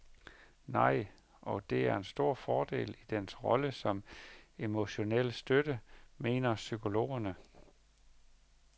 Nej, og det er en stor fordel i dens rolle som emotionel støtte, mener psykologerne.